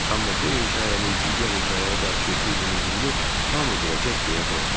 Amma bu hekayənin digər hekayəyə qarşı uydurulduğunu hamı biləcək deyə qorxuram.